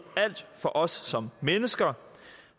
alt for os som mennesker